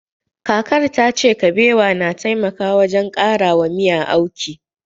Kakar tace Kabewa na taimaka wajen ƙarawa miya auki